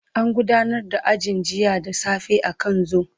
An gudanar da ajin jiya da safe akan zoom.